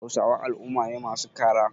Hausawa al'umma ne masu kara.